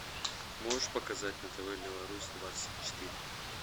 можешь показать на тв беларусь двадцать четыре